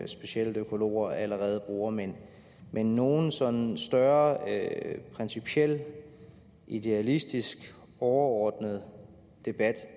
specielt økologer allerede bruger men men nogen sådan større principiel idealistisk overordnet debat